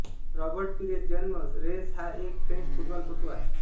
Robert Pires जन्म Reims हा एक फ्रेंच फुटबॉलपटू आहे